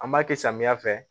An b'a kɛ samiya fɛ